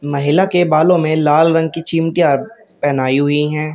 महिला के बालों में लाल रंग की चिमटियां पेहनाई हुई है।